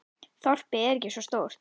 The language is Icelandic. Þorpið er ekki svo stórt.